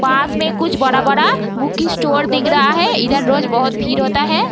पास में कुछ बड़ा-बड़ा बुक स्टोर दिख रहा है इधर रोज बहुत भीड़ होता है।